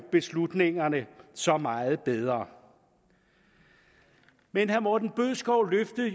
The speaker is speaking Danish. beslutningerne så meget desto bedre men herre morten bødskov løftede